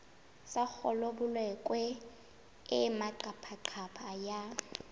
sa kgolabolokwe e maqaphaqapha ya